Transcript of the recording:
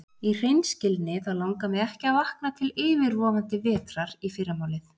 Í hreinskilni þá langar mig ekki að vakna til yfirvofandi vetrar í fyrramálið.